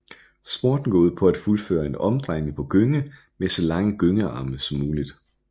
Sporten går ud på at fuldføre en omdrejning på gynge med så lange gyngearme som muligt